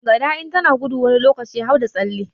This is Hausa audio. Gada in tana gudu wani lokaci har da tsalle